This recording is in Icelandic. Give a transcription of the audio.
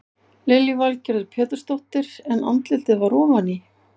Lillý Valgerður Pétursdóttir: En andlitið var ofan í?